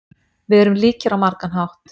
Við erum líkir á margan hátt.